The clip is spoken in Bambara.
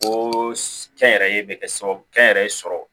Ko kɛnyɛrɛye bɛ kɛ sababu ye kɛnyɛrɛye sɔrɔ